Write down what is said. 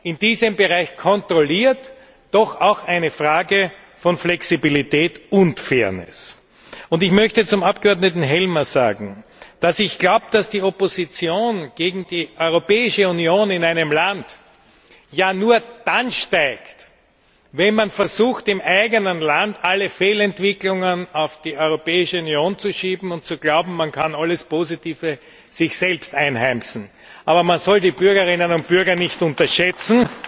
in diesem Bereich kontrolliert, doch auch eine Frage von Flexibilität und Fairness. Zum Abgeordneten Helmer möchte ich sagen, dass ich glaube, dass die Opposition gegen die Europäische Union in einem Land ja nur dann steigt, wenn man versucht, im eigenen Land alle Fehlentwicklungen auf die Europäische Union zu schieben und zu glauben, man könne alles Positive für sich selbst einheimsen. Aber man soll die Bürgerinnen und Bürger nicht unterschätzen,